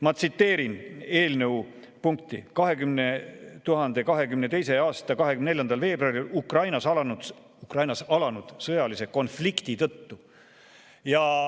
Ma tsiteerin eelnõu: "2022. aasta 24. veebruaril Ukrainas alanud sõjalise konflikti tõttu ...